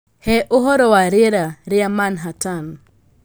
Hee ũhoro wa rĩera rĩa Manhattan